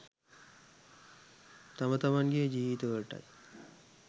තම තමන්ගේ ජීවිතවලටයි.